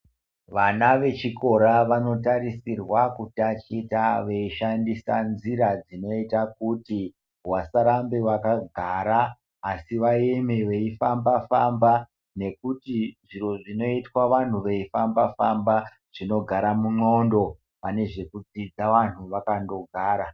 Vana vechikora vanotarisirwa kutaticha veishandisa nzira dzinoita kuti vasarambe vakagara asi vaeme veifamba famba ngekuti zviro zvinoitwe vantu veifamba famba zvinogare mundxondo pane zvekudzidza vantu vakandogara.